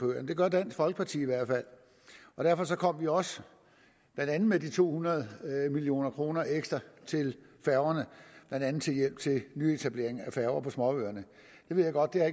gør dansk folkeparti i hvert fald og derfor kom vi også blandt andet med de to hundrede million kroner ekstra til færgerne blandt andet til hjælp til nyetablering af færgeruter til småøerne jeg ved godt at